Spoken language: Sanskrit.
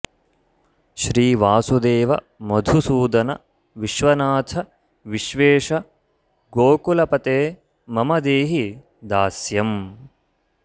श्रीवासुदेव मधुसूदन विश्वनाथ विश्वेश गोकुलपते मम देहि दास्यम्